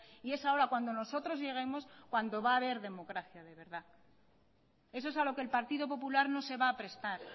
y es ahora cuando nosotros lleguemos cuando va a haber democracia de verdad eso es a lo que el partido popular no se va a prestar